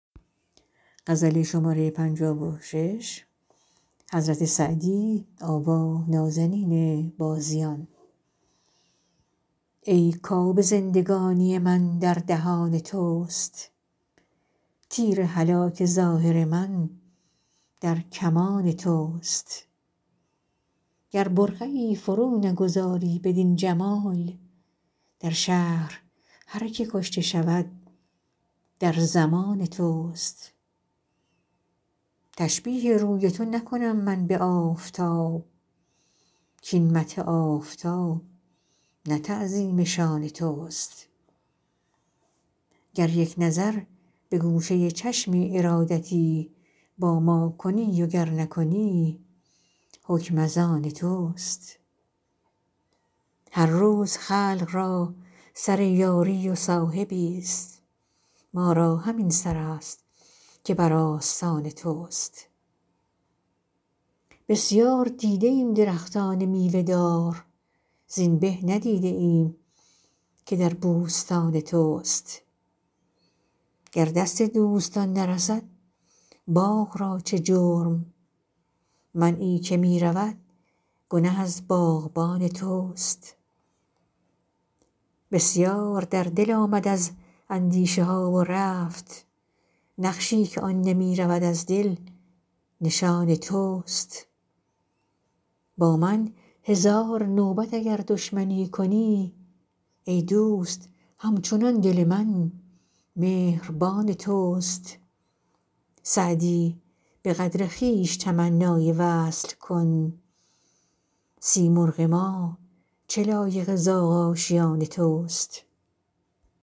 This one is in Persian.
ای کآب زندگانی من در دهان توست تیر هلاک ظاهر من در کمان توست گر برقعی فرو نگذاری بدین جمال در شهر هر که کشته شود در ضمان توست تشبیه روی تو نکنم من به آفتاب کاین مدح آفتاب نه تعظیم شان توست گر یک نظر به گوشه چشم ارادتی با ما کنی و گر نکنی حکم از آن توست هر روز خلق را سر یاری و صاحبی ست ما را همین سر است که بر آستان توست بسیار دیده ایم درختان میوه دار زین به ندیده ایم که در بوستان توست گر دست دوستان نرسد باغ را چه جرم منعی که می رود گنه از باغبان توست بسیار در دل آمد از اندیشه ها و رفت نقشی که آن نمی رود از دل نشان توست با من هزار نوبت اگر دشمنی کنی ای دوست هم چنان دل من مهربان توست سعدی به قدر خویش تمنای وصل کن سیمرغ ما چه لایق زاغ آشیان توست